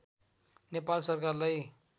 नेपाल सरकारलाई